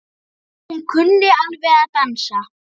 Hún kunni alveg að dansa.